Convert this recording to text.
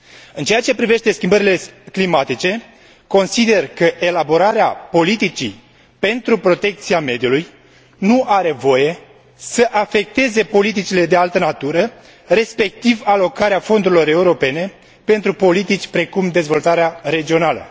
În ceea ce privește schimbările climatice, consider că elaborarea politicii pentru protecția mediului nu are voie să afecteze politicile de altă natură, respectiv alocarea fondurilor europene pentru politici precum dezvoltarea regională.